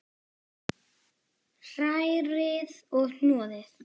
Hrærið og hnoðið.